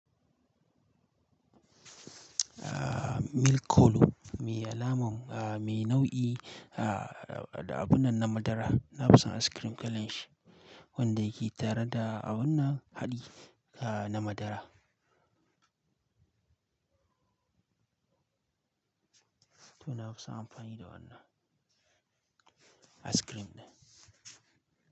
Ah, Mil kolo, me alamar, ah, me nau'i, ah, da abun nan na madara. Na fi son ice cream kalen shi, wanda yake tare da abun nan haɗi, ah, na madara. To na fi son amfani da wannan ice cream ɗin.